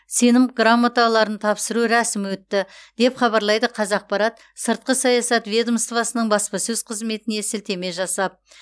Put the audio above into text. сенім грамоталарын тапсыру рәсімі өтті деп хабарлайды қазақпарат сыртқы саясат ведомоствосының баспасөз қызметіне сілтеме жасап